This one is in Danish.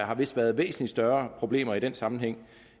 har vist været væsentlig større problemer i den sammenhæng